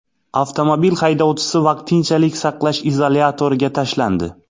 Avtomobil haydovchisi vaqtinchalik saqlash izolyatoriga tashlandi.